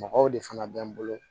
Mɔgɔw de fana bɛ n bolo